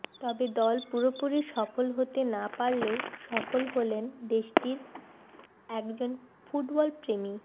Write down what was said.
তবে দল পুরোপুরি সফল হতে না পারলেও সফল হলেন দেশটির একজন ফুটবলপ্রেমী